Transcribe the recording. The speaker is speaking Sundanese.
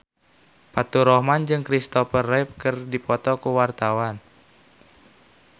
Faturrahman jeung Kristopher Reeve keur dipoto ku wartawan